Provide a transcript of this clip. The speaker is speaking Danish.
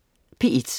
P1: